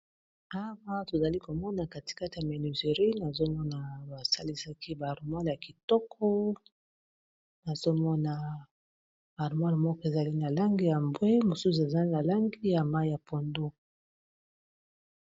awa tozali komona katikati ya menuizerie nazomona basalisaki barmale ya kitoko nazomona armoire moko ezali na langi ya mbwe mosusu ezali na langi ya mai ya pondo